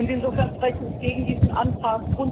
Insofern spreche ich gegen diesen Antrag.